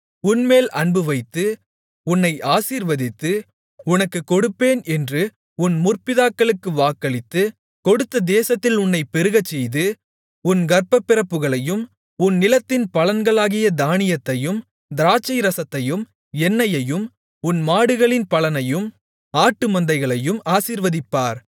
உன்மேல் அன்பு வைத்து உன்னை ஆசீர்வதித்து உனக்குக் கொடுப்பேன் என்று உன் முற்பிதாக்களுக்கு வாக்களித்து கொடுத்த தேசத்தில் உன்னைப் பெருகச்செய்து உன் கர்ப்பப்பிறப்புகளையும் உன் நிலத்தின் பலன்களாகிய தானியத்தையும் திராட்சைரசத்தையும் எண்ணெயையும் உன் மாடுகளின் பலனையும் ஆட்டுமந்தைகளையும் ஆசீர்வதிப்பார்